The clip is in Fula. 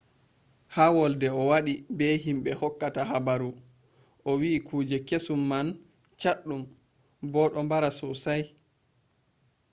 ha wolde o waɗi be himɓe hokkata habaru o wi kuje kesum man chaɗɗum bo ɗo mbara sosai